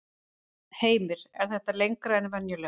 Heimir: Er þetta lengra en venjulega?